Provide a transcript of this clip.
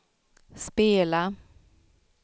spela